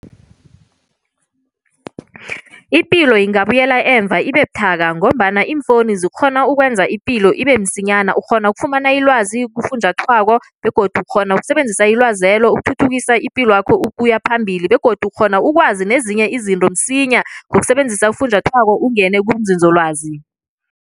Ipilo ingabuyela emva ibe buthaka ngombana iimfonu zikghone ukwenza ipilo ibe msinyana, ukghona ukufumana ilwazi kufunjathwako begodu ukghona ukusebenzisa ilwazelo ukuthuthukisa ipilwakho ukuya phambili begodu ukghona ukwazi nezinye izinto msinya ngokusebenzisa ufunjathwako ungene kunzinzolwazi.